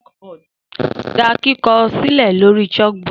Da kikọ silẹ lori chalkboard